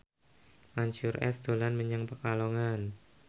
Mansyur S dolan menyang Pekalongan